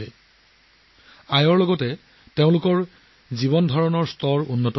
উপাৰ্জনৰ লগতে তেওঁলোকে মৰ্যাদাপূৰ্ণ জীৱনো লাভ কৰিছে